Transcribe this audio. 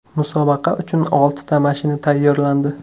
Musobaqa uchun oltita mashina tayyorlandi.